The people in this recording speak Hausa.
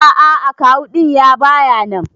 A'a akawu din ya baya nan.